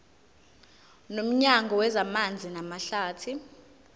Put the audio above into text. nomnyango wezamanzi namahlathi